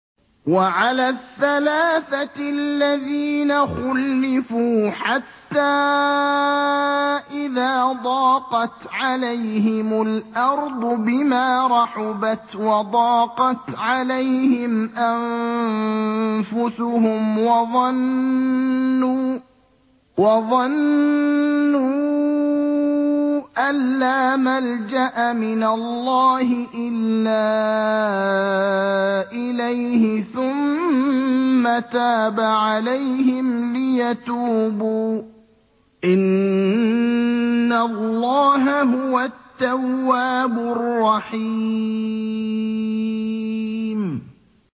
وَعَلَى الثَّلَاثَةِ الَّذِينَ خُلِّفُوا حَتَّىٰ إِذَا ضَاقَتْ عَلَيْهِمُ الْأَرْضُ بِمَا رَحُبَتْ وَضَاقَتْ عَلَيْهِمْ أَنفُسُهُمْ وَظَنُّوا أَن لَّا مَلْجَأَ مِنَ اللَّهِ إِلَّا إِلَيْهِ ثُمَّ تَابَ عَلَيْهِمْ لِيَتُوبُوا ۚ إِنَّ اللَّهَ هُوَ التَّوَّابُ الرَّحِيمُ